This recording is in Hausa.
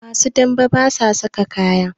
Masu dame basa saka kaya